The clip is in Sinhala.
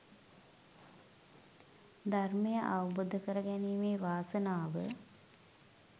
ධර්මය අවබෝධ කරගැනීමේ වාසනාව